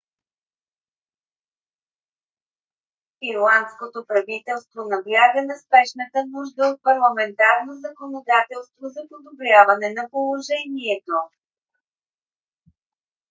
ирландското правителство набляга на спешната нужда от парламентарно законодателство за подобряване на положението